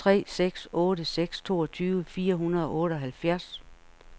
tre seks otte seks toogtyve fire hundrede og otteoghalvfjerds